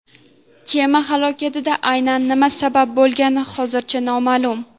Kema halokatiga aynan nima sabab bo‘lgani hozircha noma’lum.